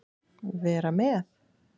Vera með?